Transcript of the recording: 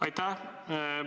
Aitäh!